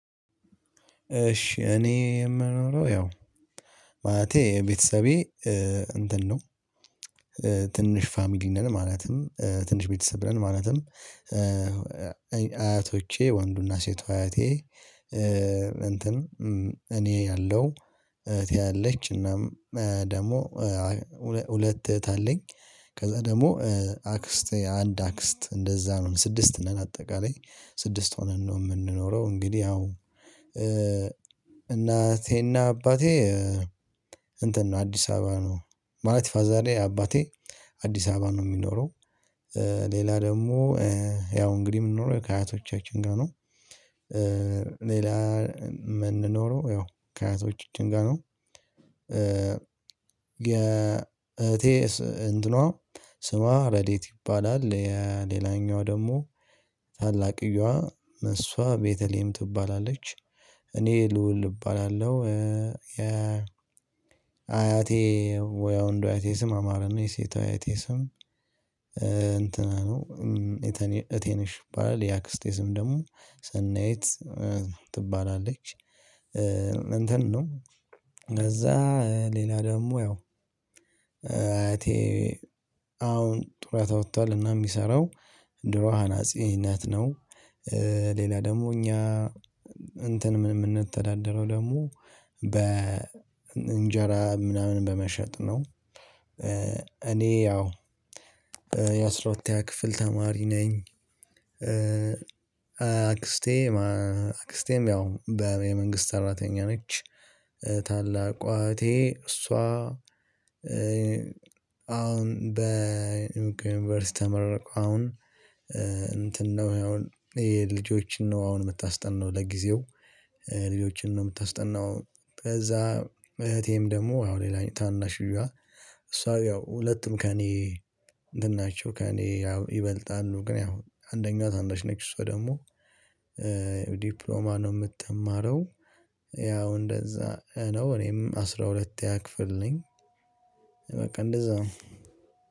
እሺ እኔ የምኖረው ያው ማለቴ ቤተሰቤ እንትን ነው ትንሽ ፋሚሊ ነን ማለትም ትንሽ ቤተሰብ ነን ማለትም። አያቶቼ ወንዱና ሴት አያቴ እንትን እኔ አለው እህቴ አለች እናም ደግሞ ሁለት እህት አለኝ ከዛ ደግሞ አክስት አንድ አክስት እንደዛ ነው ስድስት ነን አጠቃላይ ስድስት ሆነን ነው የምንኖረው። እንግዲህ ያው እናቴና አባቴ እንትን ነው አዲስ አበባ ነው ማለት ፋዛሬ አባቴ አዲስ አበባ ነው የሚኖረው። ሌላ ደግሞ ያው እንግዲህ የምንኖረው ከአያቶቻችን ጋር ነው ሌላ የምንኖረው ያው ከአያቶቻችን ጋር ነው። የእህቴ እንትኗ ስሟ ረደኤት ይባላል። ሌላኛዋ ደግሞ ታላቅየዋ እሷ ቤተሌሄም ትባላለች። እኔ ልዑል እባላለሁ። የ አያቴ ወይ የወንዱ የአያቴ ስም አማረ ነው የሴቷ አያቴ ስም እንትና ነው። እቴ ነሽ ይባላል የአክስቴ ስም ደግሞ ሰናይት ትባላለች። እንትን ነው ከዛ ሌላ ደግሞ ያው አያቴ አሁን ጡረታ ወቷል እና የሚሰራው ድሮ አናጺነት ነው። ሌላ ደግሞ እኛ እንትን የምንተዳደረው ደግሞ በ እንጀራ ምናምን በመሸጥ ነው። እኔ ያው የአስራ ሁለተኛ ክፍል ተማሪ ነኝ። አክስቴ አክስቴም ያው በመንግስት አራተኛ ነች። ታላቋ እህቴ እሷ አሁን በዩኒቨርሲቲ ተመርቃ አሁን እንትን ነው ይሄ አሁን ይሄ ልጆችን ነው አሁን የምታስጠናው ለጊዜው ልጆችን ነው የምታስጠናው። ከዛ እህቴም ደግሞ አሁን ሌላኛው ታናሽዬዋ እሷ ያው ሁለቱም ከእኔ እንትን ናቸው ከእኔ ያው ይበልጣሉ ግን ያው አንደኛው ታናሽ ነች እሷ ደግሞ ዲፕሎማ ነው የምትማረው። ያው እንደዛ ነው እኔም አስራ ሁለትኛ ክፍል ነኝ። በቃ እንደዛ ነው።